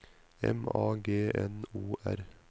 M A G N O R